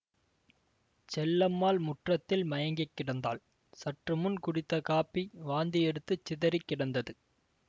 செல்லம்மாள் முற்றத்தில் மயங்கி கிடந்தாள் சற்று முன் குடித்த காப்பி வாந்தியெடுத்துச் சிதறி கிடந்தது